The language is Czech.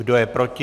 Kdo je proti?